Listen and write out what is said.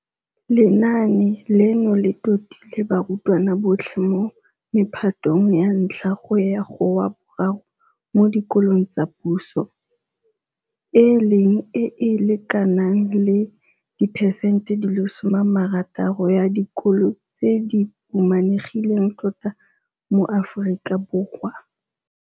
Lenaane leno le totile barutwana botlhe mo mephatong ya 1 go ya go wa bo 3 mo dikolong tsa puso, e leng e e lekanang le 60 diperesente ya dikolo tse di humanegileng tota mo Aforika Borwa.